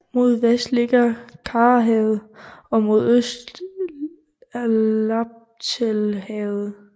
Mod vest ligger Karahavet og mod øst Laptevhavet